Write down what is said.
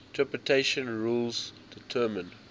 interpretation rules determine